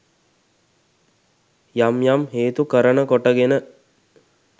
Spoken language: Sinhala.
යම් යම් හේතු කරන කොටගෙන